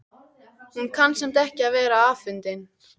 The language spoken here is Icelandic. Hún kann samt ekki við að vera afundin.